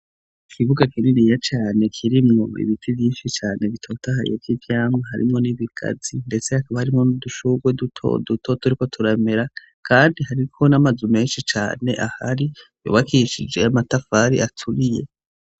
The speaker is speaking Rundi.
Ikibuga kininiya cane kirimwo ibiti vyinshi cane bitotahaye vy'ivyamwa harimwo n'ibigazi ndetse hakaba harimwo n'udushugwe duto duto turiko turamera kandi hariko n'amazu menshi cane ahari yubakishije amatafari aturiye.